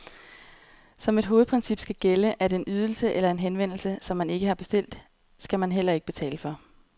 Som et hovedprincip skal gælde, at en ydelse eller en henvendelse, som man ikke har bestilt, skal man heller ikke betale for.